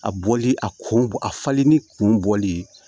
A bɔli a kun bɔ a falenni kun bɔli ye